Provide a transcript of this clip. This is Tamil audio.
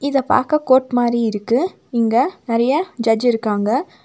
இத பாக்க கோர்ட் மாரி இருக்கு இங்க நெறய ஜட்ஜ் இருக்காங்க.